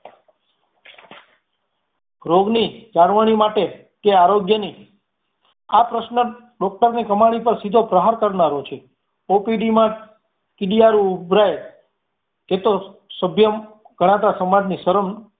રોગની જાળવણી માટે તે આરોગ્યની આ પ્રશ્ન doctor ની કમાણી પર સીધો પ્રહાર કરનારો છે OPD માં કીડિયારો ઉભરાય એ તો સભ્ય કળાવતા સમાજની શરમ